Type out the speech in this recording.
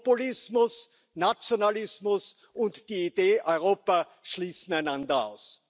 Populismus, Nationalismus und die Idee Europa schließen einander aus.